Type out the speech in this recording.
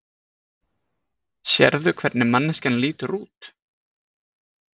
Sérðu hvernig manneskjan lítur út?